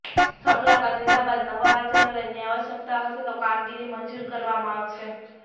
સ્થળ મુલાકાત લીધા બાદ નવા વાંચનાલયની આવશ્યકતા હશે તો કામગીરી મંજુર કરવામા આવશે